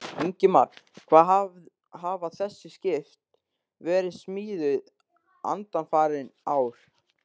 Ingimar: Hvar hafa þessi skip verið smíðuð undanfarin ár?